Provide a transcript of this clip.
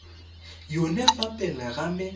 yone fa pele ga me